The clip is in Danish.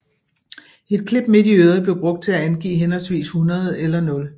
Et klip midt i øret blev brugt til at angive henholdsvis 100 eller 0